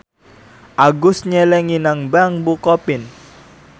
Agus nyelengi nang bank bukopin